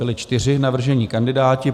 Byli čtyři navržení kandidáti.